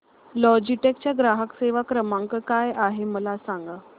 Logitech चा ग्राहक सेवा क्रमांक काय आहे मला सांगा